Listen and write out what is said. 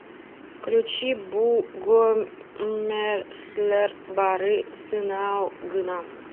включи бу гомерлэр бары сынау гына